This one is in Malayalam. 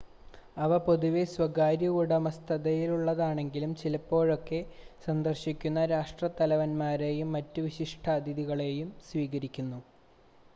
അവ പൊതുവെ സ്വകാര്യ ഉടമസ്ഥതയിലുള്ളതാണെങ്കിലും ചിലപ്പോഴൊക്കെ സന്ദർശിക്കുന്ന രാഷ്‌ട്രത്തലവന്മാരെയും മറ്റ് വിശിഷ്‌ടാതിഥികളെയും സ്വീകരിക്കുന്നു